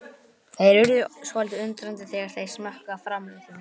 Þeir urðu svolítið undrandi þegar þeir smökkuðu á framleiðslunni.